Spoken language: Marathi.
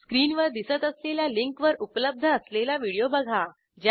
स्क्रीनवर दिसत असलेल्या लिंकवर उपलब्ध असलेला व्हिडिओ बघा